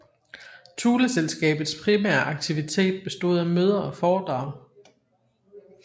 Thuleselskabets primære aktivitet bestod af møder og foredrag